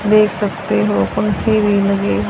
देख सकते हो पंखे भी लगे--